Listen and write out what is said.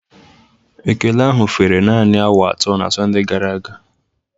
Ekele ahụ fere naanị awa atọ na Sọnde gara aga